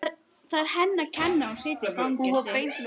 Það er henni að kenna að hann situr í fangelsi.